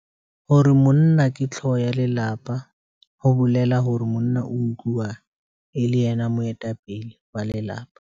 Hore monna ke hlooho ya lelapa, ho bolela hore monna utluwa e le yena moetapele wa lelapa.